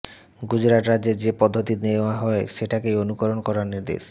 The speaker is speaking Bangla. গুজরাত রাজ্যে যে পদ্ধতি নেওয়া হয় সেটাকেই অনুসরণ করার নির্দেশ